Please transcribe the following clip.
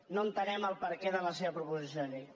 no entenem el perquè de la seva proposició de llei